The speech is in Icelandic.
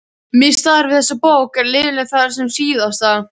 Mitt starf við þessa bók er löðurmannlegt þar sem SÍÐASTA